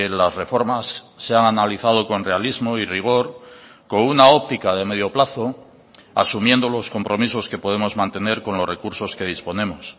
las reformas se han analizado con realismo y rigor con una óptica de medio plazo asumiendo los compromisos que podemos mantener con los recursos que disponemos